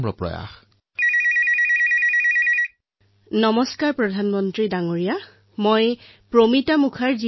মই এয়া মানো যে মন কী বাতৰ ৫০তম খণ্ড সকলোতকৈ ডাঙৰ সিদ্ধি আৰু আপুনি প্ৰধানমন্ত্ৰীক নহয় যেন নিকটাত্মীয় এজনক প্ৰশ্ন সুধিছে